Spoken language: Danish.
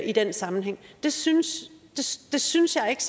i den sammenhæng det synes synes jeg ikke